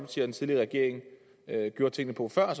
den tidligere regering gjorde tingene på før